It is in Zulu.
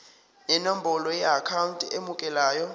nenombolo yeakhawunti emukelayo